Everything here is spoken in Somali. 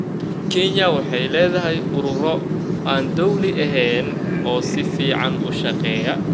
Kenya waxay leedahay ururo aan dowli ahayn oo si hufan u shaqeeya.